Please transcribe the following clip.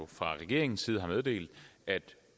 fra regeringens side har meddelt at